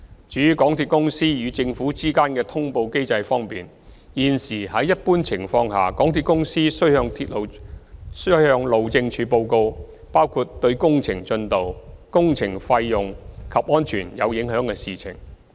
至於港鐵公司與政府之間的通報機制方面，現時在一般情況下，港鐵公司須向路政署報告包括對工程進度、工程費用及安全有影響的事情。